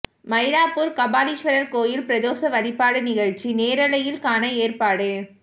மயிலாப்பூர் கபாலீஸ்வரர் கோயில் பிரதோஷ வழிபாடு நிகழ்ச்சி நேரலையில் காண ஏற்பாடு